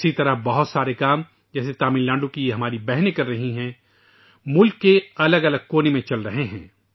اسی طرح بہت سے کام جیسے تمل ناڈو کی ہماری یہ بہنیں کر رہی ہیں ، ملک کے مختلف گوشوں میں چل رہے ہیں